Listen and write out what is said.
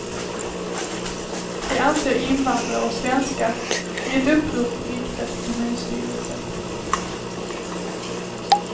Det anser invandrare och svenskar i ett upprop riktat till kommunstyrelsen.